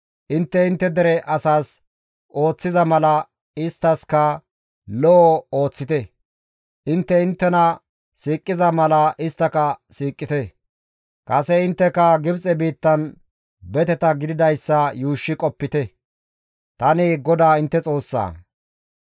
Intte intte dere asas ooththiza mala isttaskka lo7o ooththite; intte inttena siiqiza mala isttaka siiqite; kase intteka Gibxe biittan beteta gididayssa yuushshi qopite; tani GODAA intte Xoossaa.